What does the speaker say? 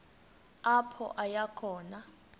apho aya khona